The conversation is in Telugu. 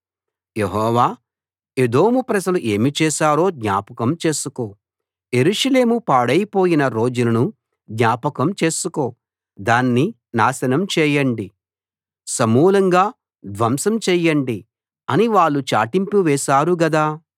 యెహోవా ఎదోము ప్రజలు ఏమి చేశారో జ్ఞాపకం చేసుకో యెరూషలేము పాడైపోయిన రోజులను జ్ఞాపకం చేసుకో దాన్ని నాశనం చేయండి సమూలంగా ధ్వంసం చెయ్యండి అని వాళ్ళు చాటింపు వేశారు గదా